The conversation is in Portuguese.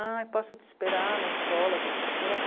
Ah, posso te esperar na escola terça-feira?